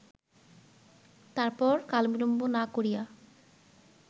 তারপর কালবিলম্ব না করিয়া